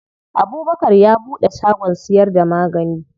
Abubkar ya buɗe shagon siyar da magani.